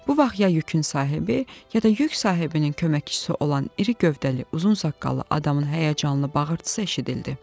Bu vaxt ya yükün sahibi, ya da yük sahibinin köməkçisi olan iri gövdəli, uzun saqqallı adamın həyəcanlı bağırtısı eşidildi.